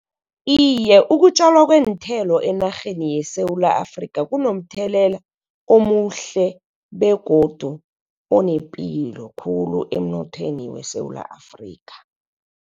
Iye, ukutjalwa kweenthelo enarheni yeSewula Afrikha, kunomthelela omuhle begodu onepilo khulu emnothweni weSewula Afrikha.